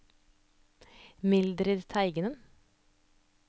Mildrid Teigen